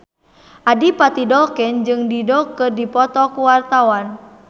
Adipati Dolken jeung Dido keur dipoto ku wartawan